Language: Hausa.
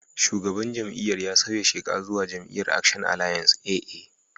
Shugaban jam'iyyar ya sauya sheka zuwa jam'iyyar Action Alliance (AA).